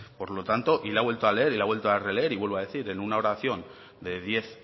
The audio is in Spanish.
por lo tanto y lo ha vuelto a leer y lo ha vuelto a releer y vuelvo a decir en una oración de diez